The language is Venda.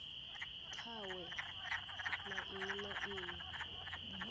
kwawe na nnyi na nnyi